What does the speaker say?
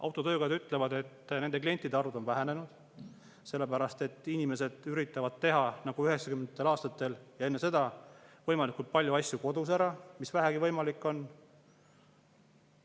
Autotöökojad ütlevad, et nende klientide arv on vähenenud, sellepärast et inimesed üritavad teha nagu üheksakümnendatel aastatel ja enne seda võimalikult palju asju kodus ära – mis vähegi võimalik on.